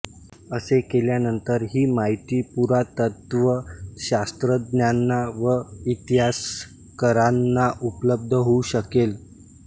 असे केल्यानंतर ही माहिती पुरातत्त्वशास्त्रज्ञांना व इतिहासकारांना उपल्ब्ध होऊ शकेल